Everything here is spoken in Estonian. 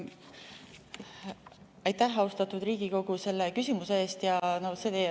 Aitäh, austatud Riigikogu, selle küsimuse eest!